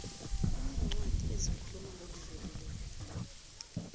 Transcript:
kunencwadi ezikhuluma ngokudlulileko